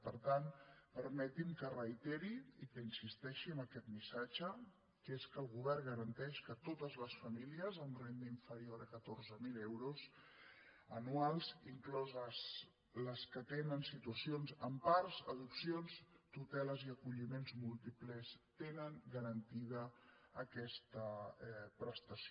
per tant per·meti’m que reiteri i que insisteixi en aquest missatge que és que el govern garanteix que totes les famílies amb renda inferior a catorze mil euros anuals incloses les que tenen situacions en parts adopcions tuteles i aco·lliments múltiples tenen garantida aquesta prestació